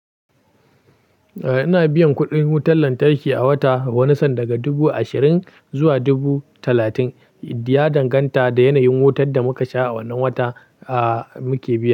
Eh, ina biyan kuɗin wutar lantarki a wata, wani san daga dubu ashirin zuwa dubu talatin. Ya danganta da yanayin wutar da muka sha a wannan watan a muke biya.